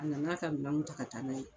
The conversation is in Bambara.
A nan'a ka minanw ta ka taa n'a ye